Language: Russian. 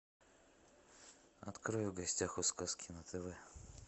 открой в гостях у сказки на тв